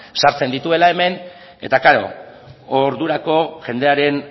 sartzen dituela hemen eta klaro ordurako jendearen